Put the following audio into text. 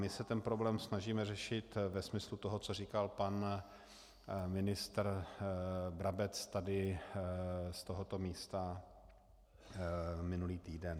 My se ten problém snažíme řešit ve smyslu toho, co říkal pan ministr Brabec tady z tohoto místa minulý týden.